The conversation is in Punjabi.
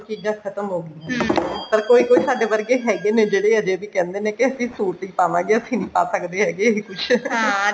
ਚੀਜਾਂ ਖਤਮ ਹੋਗੀਆਂ ਤਾਂ ਕੋਈ ਕੋਈ ਸਾਡੇ ਵਰਗੇ ਹੈਗੇ ਨੇ ਜਿਹੜੇ ਅਜੇ ਵੀ ਕਹਿੰਦੇ ਨੇ ਕੇ ਅਸੀਂ suit ਹੀ ਪਾਵਾਂਗੇ ਅਸੀਂ ਨੀ ਪਾ ਸਕਦੇ ਹੈਗੇ ਇਹ ਕੁੱਛ